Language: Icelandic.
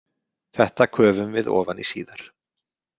Þetta köfum við ofan í síðar.